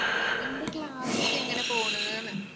നിന്‍റെ class ഒക്കെ എങ്ങനെ പോണ്ന്ന്.